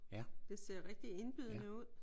Det ser rigtig indbydende ud